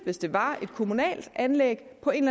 hvis det var et kommunalt anlæg på en